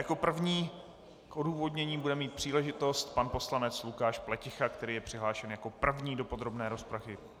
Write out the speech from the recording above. Jako první k odůvodnění bude mít příležitost pan poslanec Lukáš Pleticha, který je přihlášen jako první do podrobné rozpravy.